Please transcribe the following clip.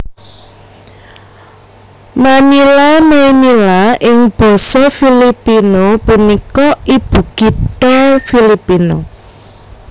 Manila Maynila ing basa Filipino punika ibukitha Filipina